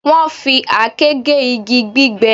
Wọ́n fi àáké gé igi gbígbẹ